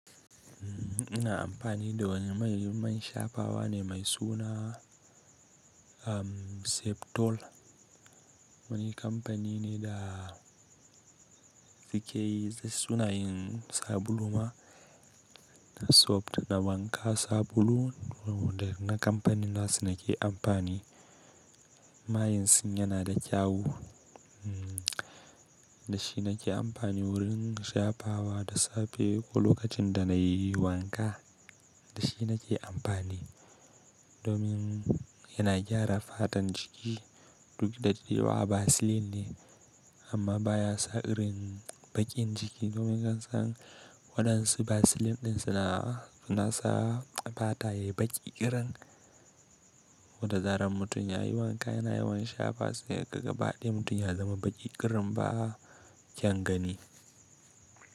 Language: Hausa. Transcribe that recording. Ina amfani da wani mai yi man shafawa ne mai suna Septol. Wani kamfani ne da suke yin sabulun ma, na soft da wanka sabulu. Na kamfanin nasu nake amfani. Mayansun yana da kyau, da shi nake amfani wurin shafawa da safe ko lokacin da na yi wanka. Da shi nake amfani domin yana gyara fatan jiki. Duk da daddewa vaseline ne amma baya sa irin baƙin jiki domin kasan waɗansu vaseline ɗin suna suna sa fata yayi baƙi ƙirin. Wata tsarin mutum ya yi wanka yana yawan shafa sai gaba ɗaya mutum ya zama baƙi ƙirin ba a kyan gani.